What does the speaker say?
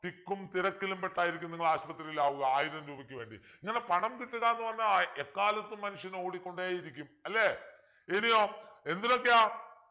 തിക്കും തിരക്കിലും പെട്ടായിരിക്കും നിങ്ങൾ ആശുപത്രിയിൽ ആവുക ആയിരം രൂപയ്ക്ക് വേണ്ടി ഇങ്ങനെ പണം കിട്ടുക എന്ന് പറഞ്ഞാൽ അ എക്കാലത്തും മനുഷ്യൻ ഓടിക്കൊണ്ടിരിക്കും അല്ലെ